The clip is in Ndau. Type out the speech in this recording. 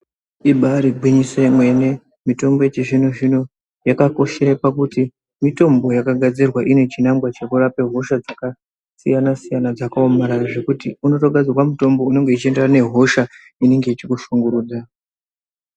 Ibari gwinyiso yemene mene yakakoshera pakuti mitombo inogadzirwa ine chinangwa chekurapa hosha dzakasiyana siyana dzakaomarara zvekuti unotogadzirwa mutombo unenge uchienderana nehosha inenge ichikushungurudza.